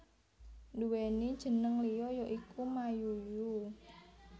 Duwéni jénéng liya ya iku Mayuyu